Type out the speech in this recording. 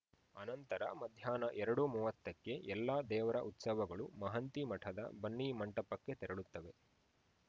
ಅನಂತರ ಮಧ್ಯಾಹ್ನ ಎರಡು ಮೂವತ್ತಕ್ಕೆ ಎಲ್ಲ ದೇವರ ಉತ್ಸವಗಳು ಮಂಹತಿ ಮಠದ ಬನ್ನಿ ಮಂಟಪಕ್ಕೆ ತೆರಳುತ್ತವೆ